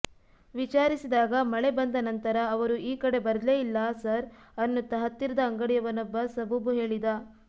ವಿಚಾರಿಸಿದಾಗ ಮಳೆ ಬಂದ ನಂತರ ಅವರು ಈ ಕಡೆ ಬರ್ಲೇ ಇಲ್ಲಾ ಸರ್ ಅನ್ನುತ್ತಾ ಹತ್ತಿರದ ಅಂಗಡಿಯವನೊಬ್ಬ ಸಬೂಬು ಹೇಳಿದ